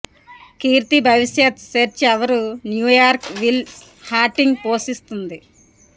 కీర్తి భవిష్యత్ సెర్చ్ ఎవరు New York Will Hunting పోషిస్తుంది